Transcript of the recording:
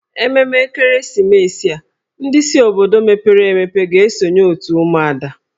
Ememme ekeresimesi a, ndị si obodo mepere emepe ga-esonye otù ụmụada